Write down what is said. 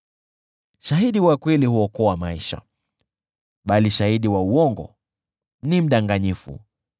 Shahidi wa kweli huokoa maisha, bali shahidi wa uongo ni mdanganyifu.